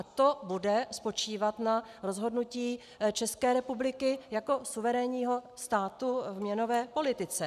A to bude spočívat na rozhodnutí České republiky jako suverénního státu v měnové politice.